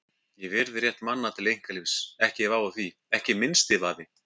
Ég virði rétt manna til einkalífs, ekki vafi á því, ekki minnsti vafi.